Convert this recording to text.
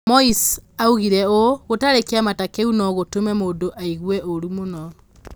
Maas oigire ũũ: 'Gũtarĩ kĩama ta kĩu no gũtũme mũndũ aigue ũũru mũno.'